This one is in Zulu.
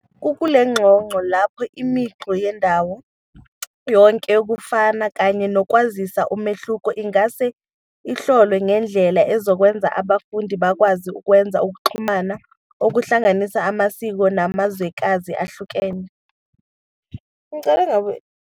Kukule ngxoxo lapho imicu yendawo yonke yokufana kanye nokwazisa umehluko ingase ihlolwe ngendlela ezokwenza abafundi bakwazi ukwenza ukuxhumana okuhlanganisa amasiko namazwekazi ahlukene